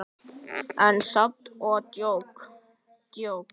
En samt ekki djók.